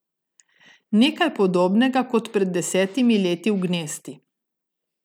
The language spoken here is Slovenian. Nekaj podobnega kot pred desetimi leti v Gnesti.